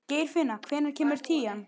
Geirfinna, hvenær kemur tían?